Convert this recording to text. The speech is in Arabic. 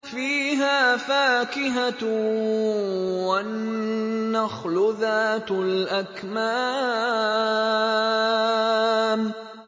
فِيهَا فَاكِهَةٌ وَالنَّخْلُ ذَاتُ الْأَكْمَامِ